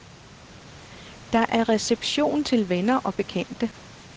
Der er reception til venner og bekendte.